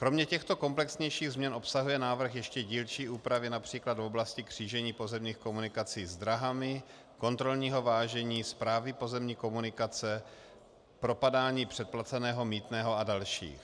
Kromě těchto komplexnějších změn obsahuje návrh ještě dílčí úpravy například v oblasti křížení pozemních komunikací s dráhami, kontrolního vážení, správy pozemní komunikace, propadání předplaceného mýtného a další.